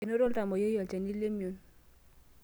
Enoto oltamwoyiai olchani lemion.